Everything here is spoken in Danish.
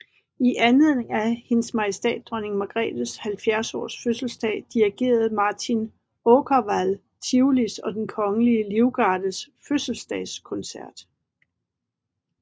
I anledning af HM Dronning Margrethe 70 års fødselsdag dirigerede Martin Åkerwall Tivolis og Den Kongelige Livgardes fødselsdagskoncert